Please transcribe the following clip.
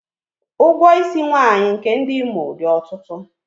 Ụgwọ isi nwaanyị nke ndị Imo dị ọtụtụ.